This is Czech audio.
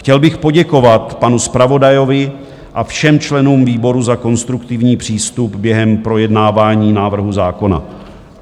Chtěl bych poděkovat panu zpravodajovi a všem členům výboru za konstruktivní přístup během projednávání návrhu zákona.